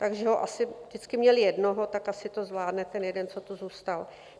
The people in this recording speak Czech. Takže ho asi... vždycky měli jednoho, tak asi to zvládne ten jeden, co tu zůstal.